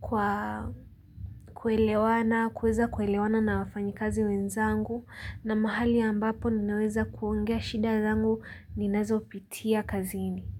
kwa kuelewana kuweza kuelewana na wafanyikazi wenzangu na mahali ambapo ninaweza kuongea shida zangu ninazopitia kazini.